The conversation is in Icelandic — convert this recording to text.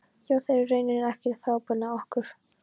Já, þær eru í rauninni ekkert frábrugðnar okkur.